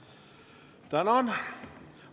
Tänan!